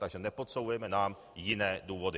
Takže nepodsouvejte nám jiné důvody.